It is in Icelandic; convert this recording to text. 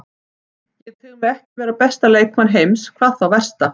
Ég tel mig ekki vera besta leikmann heims, hvað þá versta.